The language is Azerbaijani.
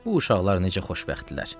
Bu uşaqlar necə xoşbəxtdirlər.